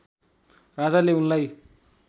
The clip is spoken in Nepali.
राजाले उनलाई